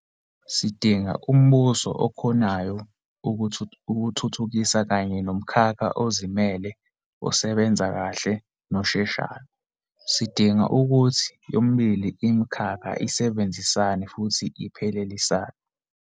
Sidinga umbuso okhonayo ukuthuthukisa kanye nomkhakha ozimele osebenza kahle nosheshayo. Sidinga ukuthi yomibili imikhakha isebenzisane futhi iphelelisane.